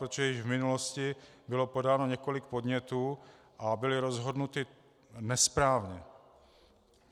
Protože již v minulosti bylo podáno několik podnětů a byly rozhodnuty nesprávně.